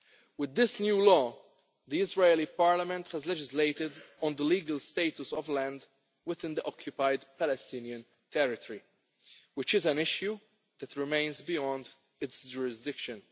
With this new law, the Israeli Parliament has legislated on the legal status of land within the occupied Palestinian Territory, which is an issue that remains beyond its jurisdiction.